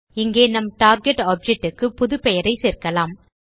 இங்கே நம் target object க்கு புது பெயரை சேர்க்கலாம்